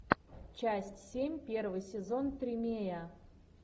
часть семь первый сезон тримея